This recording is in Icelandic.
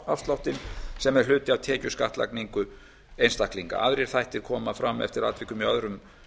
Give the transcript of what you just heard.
persónuafsláttinn sem er hluti af tekjuskattlagningu einstaklinga aðrir þættir koma fram eftir atvikum í öðrum